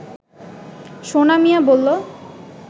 সোনা মিয়া বলল